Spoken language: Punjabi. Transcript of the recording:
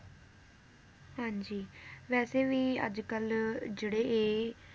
ਹਾਂਜੀ ਵੈਸੇ ਵੀ ਅੱਜਕੱਲ ਜਿਹੜੇ ਇਹ